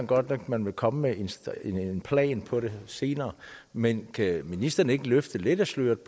godt nok at man vil komme med en plan for det senere men kan ministeren ikke løfte lidt af sløret